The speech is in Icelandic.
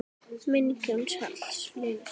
Minning Jóns Halls lifir.